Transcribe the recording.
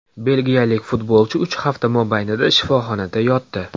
Belgiyalik futbolchi uch hafta mobaynida shifoxonada yotdi.